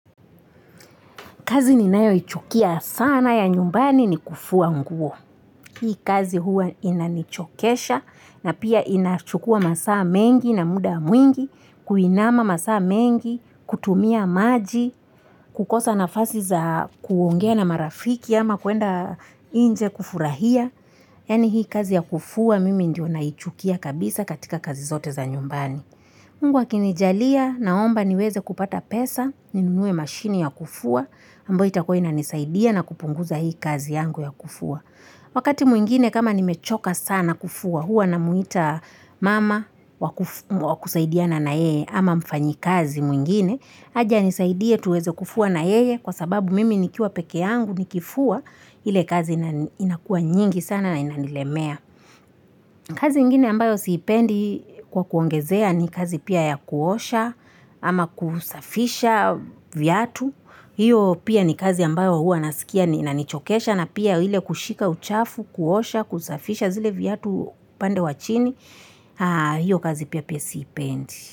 Kazi ninayoichukia sana ya nyumbani ni kufua nguo, hii kazi huwa inanichokesha na pia inachukua masaa mengi na muda mwingi, kuinama masaa mengi, kutumia maji, kukosa nafasi za kuongea na marafiki ama kuenda inje kufurahia yani hii kazi ya kufua mimi ndio naichukia kabisa katika kazi zote za nyumbani Mungu akinijalia naomba niweze kupata pesa, ninunue mashini ya kufua, ambayo itakuwa inanisaidia na kupunguza hii kazi yangu ya kufua Wakati mwingine kama nimechoka sana kufua huwa namwita mama wakusaidiana na yeye ama mfanyikazi mwingine, haje anisaidie tuweze kufua na yeye, kwa sababu mimi nikiwa pekeangu nikifua, ile kazi inakua nyingi sana na inanilemea kazi ingine ambayo siipendi kwa kuongezea ni kazi pia ya kuosha ama kusafisha vyatu, hiyo pia ni kazi ambayo huwa naskia inanichokesha na pia ile kushika uchafu, kuosha, kusafisha zile vyatu pande wa chini, hiyo kazi pia siipendi.